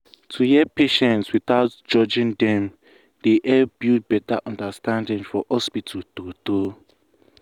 to hear patients without judging dem dey help build better understanding for hospital true true.